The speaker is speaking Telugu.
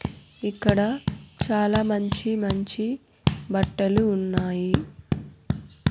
ఇక్కడ చాలా మంచి మంచి బట్టలు ఉన్నాయి.